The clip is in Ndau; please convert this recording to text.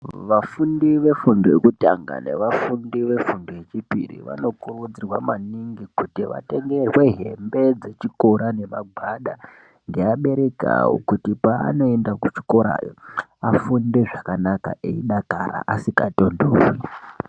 Vafundi vefundo yekutanga nevafundi vefundo yechipiri vanokurudzirwa maningi kuti vatengerwe hembe dzechikora nemagwada ngeabereki avo kuti pavanoenda kuchikorayo afunde zvakanaka eidakara asingatontorwi.